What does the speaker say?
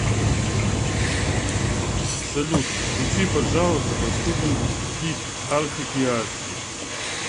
салют включи пожалуйста последний хит артик и асти